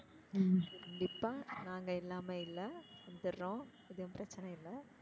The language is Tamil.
ஹம் கண்டிப்பா நாங்க இல்லாம இல்ல வந்துறோம்? எதுவும் பிரச்சனை இல்ல?